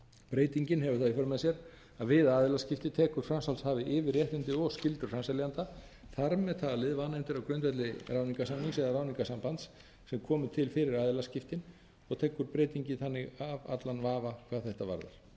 breytingin hefur það í för með sér að við aðilaskipti tekur framsalshafi yfir réttindi og skyldur framseljanda þar með fallið vanefndir á grundvelli ráðningarsamnings eða ráðningarsambands sem komu til fyrir aðilaskiptin og tekur breytingin þannig af allan vafa hvað þetta